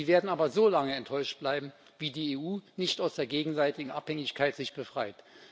Sie werden aber so lange enttäuscht bleiben, wie sich die EU nicht aus der gegenseitigen Abhängigkeit befreit.